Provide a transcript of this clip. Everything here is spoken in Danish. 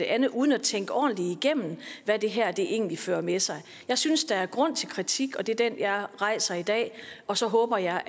andet uden at tænke ordentligt igennem hvad det her egentlig fører med sig jeg synes der er grund til kritik og det er den jeg rejser i dag og så håber jeg